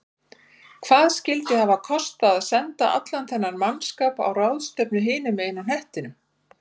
Hvað skyldi hafa kostað að senda allan þennan mannskap á ráðstefnu hinum megin á hnettinum?